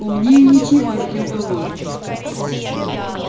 умнее ничего не придумал